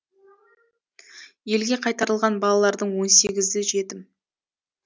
елге қайтарылған балалардың он сегізі жетім